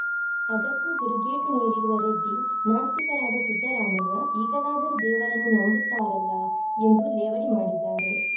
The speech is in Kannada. ಅದಕ್ಕೂ ತಿರುಗೇಟು ನೀಡಿರುವ ರೆಡ್ಡಿ ನಾಸ್ತಿಕರಾದ ಸಿದ್ದರಾಮಯ್ಯ ಈಗಲಾದರೂ ದೇವರನ್ನು ನಂಬುತ್ತಾರಲ್ಲ ಎಂದು ಲೇವಡಿ ಮಾಡಿದ್ದಾರೆ